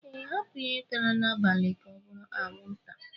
Ee, hapu ihe tara n'abalị ga obụrụ anwụnta